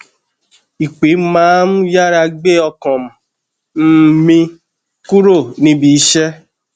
ìpè má n yára gbé ọkàm um mi kúrò níbi iṣẹ